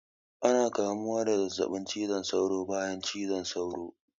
Ana kamuwa da zazzaɓin cizon saura bayan cizon sauro